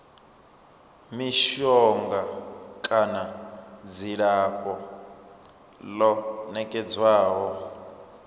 mishonga kana dzilafho ḽo nekedzwaho